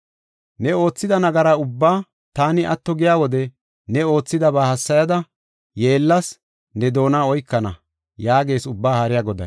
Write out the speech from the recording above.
Ne oothida nagaraa ubbaa taani atto giya wode ne oothidaba hassayada, yeellas ne doona oykana” yaagees Ubbaa Haariya Goday.